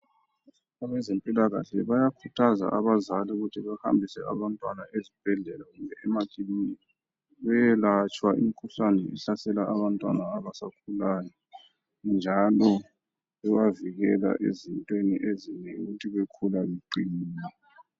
Abezempilakahle bayakhuthaza abazali ukuthi behambise abantwana ezibhedlela lasemakiliniki beyelatshwa imikhuhlane ehlasela abantwanaabasakhulayo njalo bebavikela ezintweni ezinengi ukuthi bakhule beqinile.